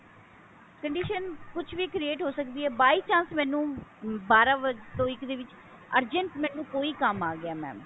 condition ਕੁੱਛ ਵੀ create ਹੋ ਸਕਦੀ ਹੈ by chance ਮੈਨੂੰ ਬਾਰਾਂ ਵਜੇ ਤੋਂ ਇੱਕ ਦੇ ਵਿੱਚ ਵਿੱਚ urgent ਕੋਈ ਕੰਮ ਆ ਗਿਆ mam